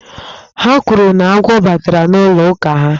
Ha kwuru na agwọ batara n'ụlọ ụka ha.